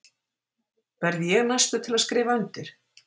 Verð ég næstur til að skrifa undir?